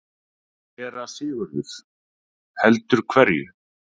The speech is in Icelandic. SÉRA SIGURÐUR: Heldur hverju?